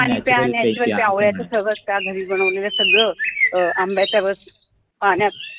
पाणी प्या नाहीतर ते आवळ्याचं सरबत प्या ते घरी बनवलेलं सगळं अं आंब्याचा रस पाण्यात